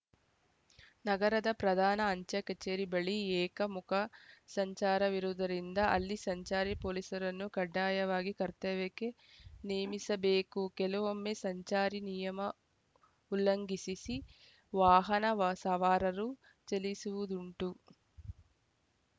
ನಗರದ ಪ್ರಧಾನ ಅಂಚೆ ಕಚೇರಿ ಬಳಿ ಏಕಮುಖ ಸಂಚಾರವಿರುವುದರಿಂದ ಅಲ್ಲಿ ಸಂಚಾರಿ ಪೊಲೀಸರನ್ನು ಕಡ್ಡಾಯವಾಗಿ ಕರ್ತವ್ಯಕ್ಕೆ ನೇಮಿಸಬೇಕು ಕೆಲವೊಮ್ಮೆ ಸಂಚಾರಿ ನಿಯಮ ಉಲ್ಲಂಘಿಸಿಸಿ ವಾಹನ ವ ಸವಾರರು ಚಲಿಸುವುದುಂಟು